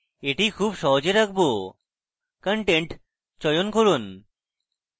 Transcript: এটি খুব সহজ রাখবোcontent চয়ন করুন